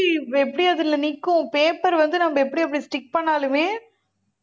எப்படி அதுல நிக்கும் paper வந்து நம்ம எப்படி அப்படி stick பண்ணாலுமே